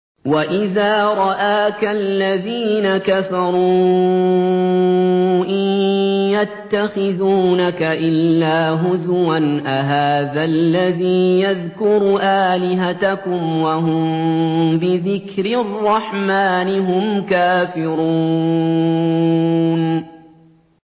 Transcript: وَإِذَا رَآكَ الَّذِينَ كَفَرُوا إِن يَتَّخِذُونَكَ إِلَّا هُزُوًا أَهَٰذَا الَّذِي يَذْكُرُ آلِهَتَكُمْ وَهُم بِذِكْرِ الرَّحْمَٰنِ هُمْ كَافِرُونَ